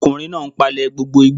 Ọkùnrin náà n palẹ̀ gbogbo igbó